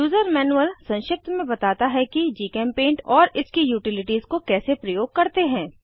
user manual संक्षिप्त में बताता है कि जीचेम्पेंट और इसकी यूटिलिटीज़ को कैसे प्रयोग करते हैं